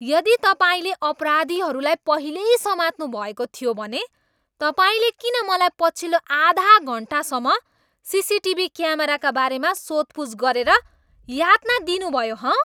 यदि तपाईँले अपराधीहरूलाई पहिल्यै समात्नुभएको थियो भने तपाईँले किन मलाई पछिल्लो आधा घन्टासम्म सिसिटिभी क्यामेराका बारेमा सोधपुछ गरेर यातना दिनुभयो, हँ?